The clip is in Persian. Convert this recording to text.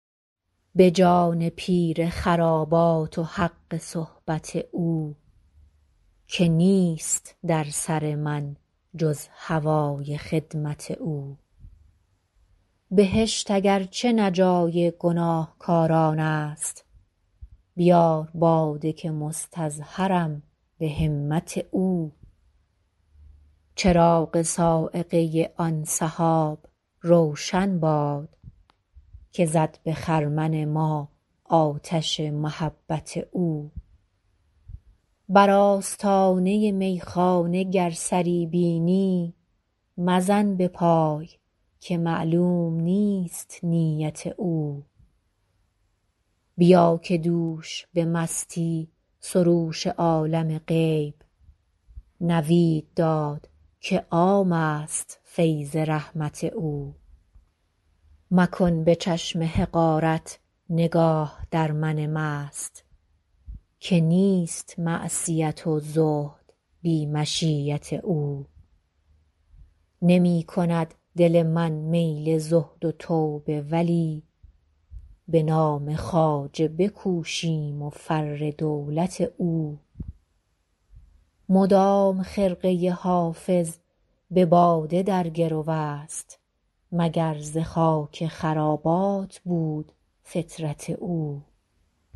به جان پیر خرابات و حق صحبت او که نیست در سر من جز هوای خدمت او بهشت اگر چه نه جای گناهکاران است بیار باده که مستظهرم به همت او چراغ صاعقه آن سحاب روشن باد که زد به خرمن ما آتش محبت او بر آستانه میخانه گر سری بینی مزن به پای که معلوم نیست نیت او بیا که دوش به مستی سروش عالم غیب نوید داد که عام است فیض رحمت او مکن به چشم حقارت نگاه در من مست که نیست معصیت و زهد بی مشیت او نمی کند دل من میل زهد و توبه ولی به نام خواجه بکوشیم و فر دولت او مدام خرقه حافظ به باده در گرو است مگر ز خاک خرابات بود فطرت او